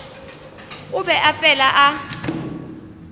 o be a fela a